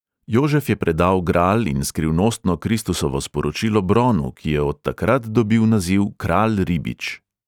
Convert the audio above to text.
Jožef je predal gral in skrivnostno kristusovo sporočilo bronu, ki je od takrat dobil naziv kralj ribič.